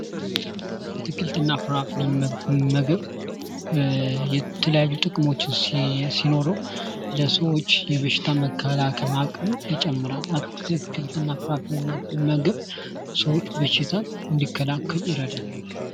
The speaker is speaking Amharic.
አትክልትና ፍራፍሬ ምግብ የተለያዩ ጥቅሞች ሲኖረው ለሰዎች የበሽታ መከላከል አቅምን ይጨምራል ፤ አትክልትና ፍራፍሬን መመገብ ሰዎች በሽታን እንዲከላከሉ ይረዳል።